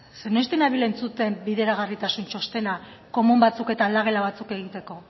zeren noiztik nabil entzuten bideragarritasun txostena komun batzuk eta aldagela batzuk egiteko